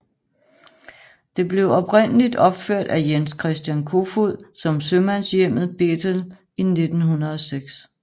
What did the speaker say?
Det blev oprindeligt opført af Jens Christian Kofoed som Sømandshjemmet Bethel i 1906